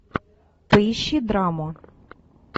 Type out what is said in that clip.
поищи драму